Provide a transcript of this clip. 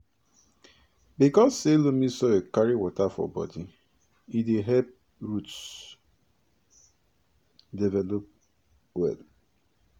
because say loamy soil carry water for bodi e dey help roots develop well